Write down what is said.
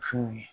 Musow ye